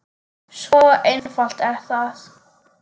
Svo einfalt er það!